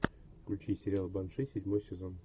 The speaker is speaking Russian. включи сериал банши седьмой сезон